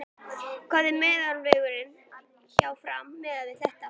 Hver eru meðallaunin hjá Fram miðað við þetta?